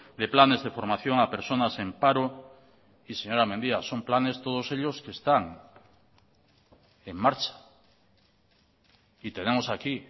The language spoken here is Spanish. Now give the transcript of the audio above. de planes de formación a personas en paro y señora mendia son planes todos ellos que están en marcha y tenemos aquí